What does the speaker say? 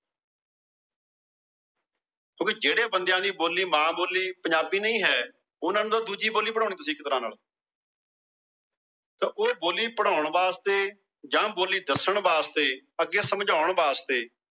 ਓ ਵੀ ਜਿਹੜੇ ਬੰਦਿਆ ਦੀ ਬੋਲੀ ਮਾਂ ਬੋਲੀ ਪੰਜਾਬੀ ਨਹੀਂ ਹੈ। ਉਹਨਾਂ ਨੂੰ ਤਾਂ ਦੂਜੀ ਬੋਲੀ ਪੜਾਨੀ ਇੱਕ ਤਰਹ ਨਾਲ। ਤਾ ਉਹ ਬੋਲੀ ਪੜ੍ਹਾਨ ਵਾਸਤੇ ਜਾ ਬੋਲੀ ਦੱਸਣ ਵਾਸਤੇ ਅੱਗੇ ਸਮਝਾਉਣ ਵਾਸਤੇ।